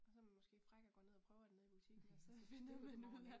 Og så man måske fræk og går ned og prøver den nede i butikken og så finder man ud af